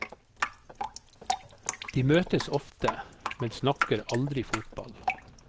De møtes ofte, men snakker aldri fotball.